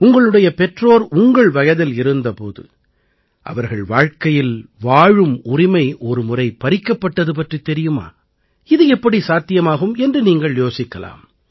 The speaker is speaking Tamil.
உங்களுடைய பெற்றோர் உங்கள் வயதில் இருந்த போது அவர்கள் வாழ்க்கையில் வாழும் உரிமை ஒருமுறை பறிக்கப்பட்டது பற்றித் தெரியுமா இது எப்படி சாத்தியமாகும் என்று நீங்கள் யோசிக்கலாம்